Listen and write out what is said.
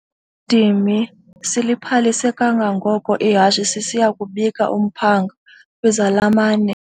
dimi siliphalise kangangoko ihashe sisiya kubika umphanga kwizalamane.